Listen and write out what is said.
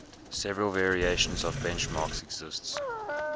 several variations of benchmarks exist